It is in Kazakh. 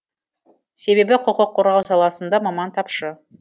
себебі құқық қорғау саласында маман тапшы